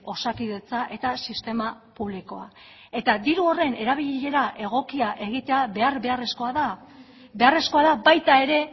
osakidetza eta sistema publikoa eta diru horren erabilera egokia egitea behar beharrezkoa da beharrezkoa da baita ere